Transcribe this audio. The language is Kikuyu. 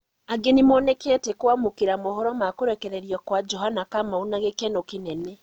Angĩ nĩmonekete kwamũkĩra mohoro ma kũrekererio kwa Johana Kamaru na gĩkeno kĩnene